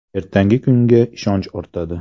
Ertangi kunga ishonchi ortadi.